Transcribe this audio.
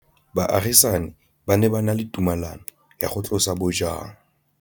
Baagisani ba ne ba na le tumalanô ya go tlosa bojang.